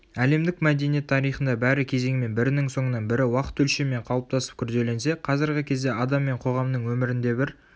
әлемдік мәдениет тарихында бәрі кезеңмен бірінің соңынан бірі уақыт өлшемімен қалыптасып күрделенсе қазіргі кезде адам мен қоғамның өмірінде бір